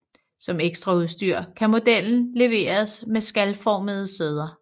Som ekstraudstyr kan modellen leveres med skalformede sæder